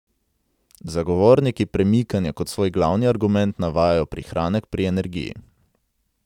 Zagovorniki premikanja kot svoj glavni argument navajajo prihranek pri energiji.